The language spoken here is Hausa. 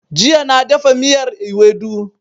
Jiya na dafa miyar Iwedu